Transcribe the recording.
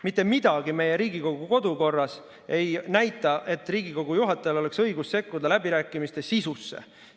Mitte miski meie Riigikogu kodukorras ei näita, et Riigikogu juhatajal oleks õigus sekkuda läbirääkimiste sisusse.